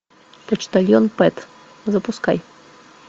почтальон пэт запускай